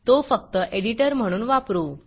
तो फक्त एडिटर म्हणून वापरू